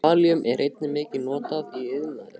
Kalíum er einnig mikið notað í iðnaði.